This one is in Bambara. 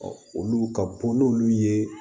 olu ka bɔ n'olu ye